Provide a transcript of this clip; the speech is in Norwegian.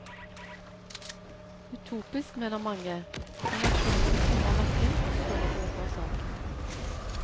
Utopisk mener mange, men aksjonen krummer nakken og står på for saken.